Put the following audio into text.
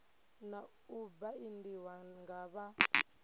na u baindiwa nga vha